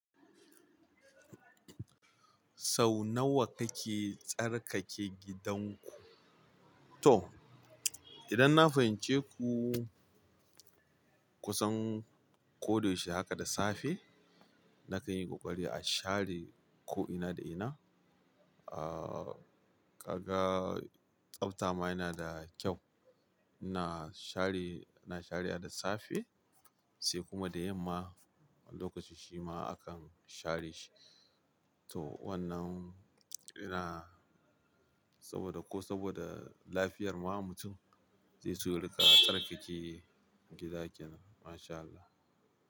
Sau nawa kake tsarkake gidanku? To, idan na fahimce ku kusan ko da yaushe haka da safe, nakan yi ƙoƙari a share ko'ina da ina. Ahhh, kaga tsabta ma yana da kyau. Na share, ina sharewa da safe sai kuma da yamma, lokaci shima akan share shi. To wannan ina saboda ko saboda lafiyar ma mutum sai su riƙa tsarkake gida kenan. Mashallah.